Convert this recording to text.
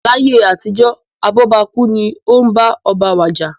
Láyé àtijó, abóbakú nii bá oba wàjà.